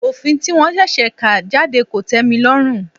Òfin tí wọ́n ṣẹ̀ṣẹ̀ kà jáde kò tẹ́milọ́rùn.